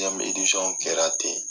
Deziɲɛmu idisɔn kɛra ten